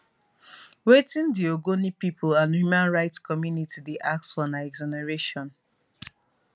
wetin di ogoni pipo and human rights community dey ask for na exoneration